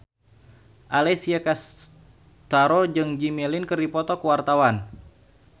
Alessia Cestaro jeung Jimmy Lin keur dipoto ku wartawan